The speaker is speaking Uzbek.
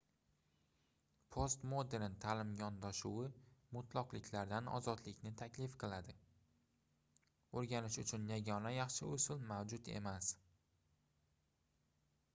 postmodern taʼlim yondashuvi mutloqliklardan ozodlikni taklif qiladi oʻrganish uchun yagona yaxshi usul mavjud emas